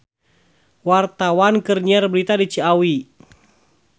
Wartawan keur nyiar berita di Ciawi